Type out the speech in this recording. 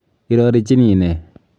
Irorichini nee?